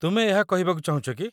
ତୁମେ ଏହା କହିବାକୁ ଚାହୁଁଛ କି?